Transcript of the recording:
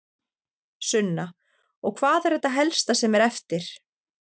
Sunna: Og hvað er þetta helsta sem er eftir?